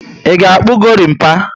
I ga akpu gorimpa?